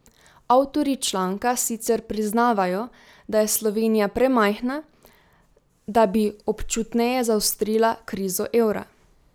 Avtorji članka sicer priznavajo, da je Slovenija premajhna, da bi občutneje zaostrila krizo evra.